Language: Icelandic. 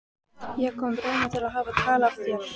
Ég kom raunar til að hafa tal af þér.